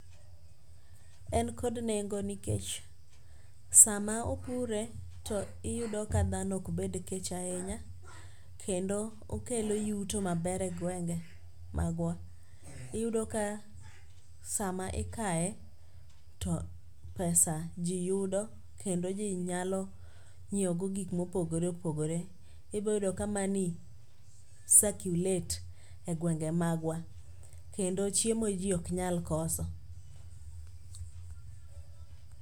En kod nengo nikech sama opure to iyudo ka dhano ok bed kech ahinya kendo okelo yuto maber e gwenge magwa. Iyudo ka sama ikaye, to pesa ji yudo kendo ji nyalo nyiewogo gik mopogore opogore. Iboyudo ka money circulate e gwenge magwa, kendo chiemo ji ok nyal koso.